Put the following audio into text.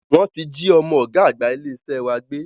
Wọ́n ti jí ọmọ ọ̀gá àgbà ilé iṣẹ́ wa gbé